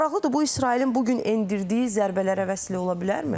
Maraqlıdır, bu İsrailin bu gün endirdiyi zərbələrə vəsliyə ola bilərmi?